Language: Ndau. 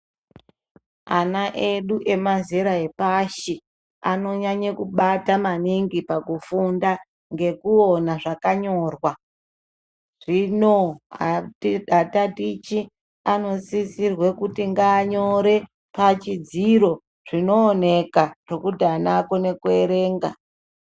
Ana edu emazera epashi anonyanya kubate maningi pakufunda ngekuona zvakanyorwa zvino atatichi anosisirwe kutu ngaanyore pachidziro zvinooneka pekuti ana akone kuerenga.